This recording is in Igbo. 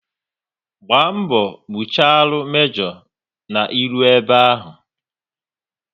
Gba mgbọ gbucharu mejo na ị ruo ebe ahụ!